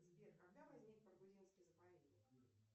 сбер когда возник баргузинский заповедник